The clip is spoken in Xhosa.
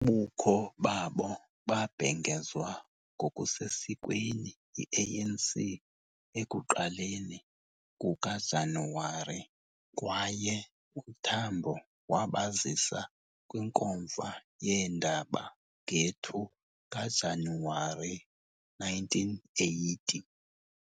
Ubukho babo babhengezwa ngokusesikweni yi-ANC ekuqaleni kukaJanuwari kwaye uTambo wabazisa kwinkomfa yeendaba nge-2 kaJanuwari 1980.